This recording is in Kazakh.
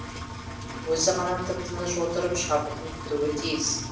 өзі ғана тып тыныш отырып шабытын күтуі тиіс